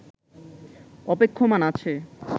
অপেক্ষমান আছে